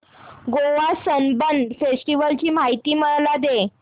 Goa Sunburn festival ची माहिती मला दे